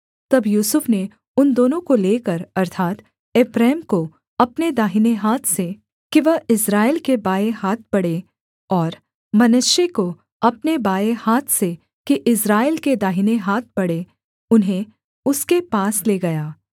तब यूसुफ ने उन दोनों को लेकर अर्थात् एप्रैम को अपने दाहिने हाथ से कि वह इस्राएल के बाएँ हाथ पड़े और मनश्शे को अपने बाएँ हाथ से कि इस्राएल के दाहिने हाथ पड़े उन्हें उसके पास ले गया